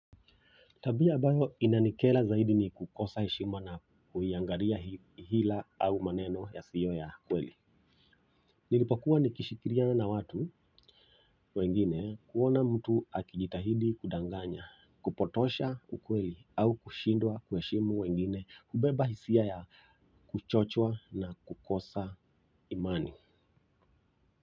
Tabia ambayo inanikera zaidi ni kukosa heshima na kuiangalia hila au maneno yasiyo ya kweli. Nilipokuwa nikishikiliana watu wengine kuona mtu akijitahidi kudanganya, kupotosha ukweli au kushindwa kuheshimu wengine kubeba hisia ya kuchoshwa na kukosa imani.